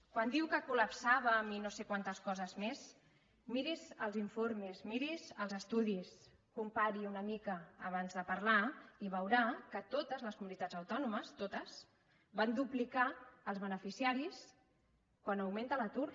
quan diu que col·lapsàvem i no sé quantes coses més miri’s els informes miri’s els estudis compari una mica abans de parlar i veurà que totes les comunitats autònomes totes van duplicar els beneficiaris quan augmenta l’atur